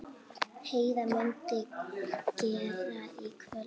Heiða mundi gera í kvöld.